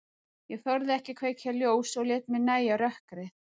Ég þorði ekki að kveikja ljós og lét mér nægja rökkrið.